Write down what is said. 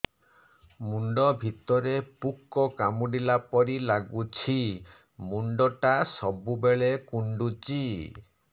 ମୁଣ୍ଡ ଭିତରେ ପୁକ କାମୁଡ଼ିଲା ପରି ଲାଗୁଛି ମୁଣ୍ଡ ଟା ସବୁବେଳେ କୁଣ୍ଡୁଚି